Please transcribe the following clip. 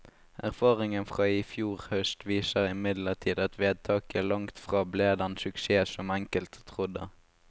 Erfaringen fra i fjor høst viser imidlertid at vedtaket langtfra ble den suksess som enkelte trodde.